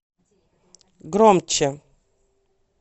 громче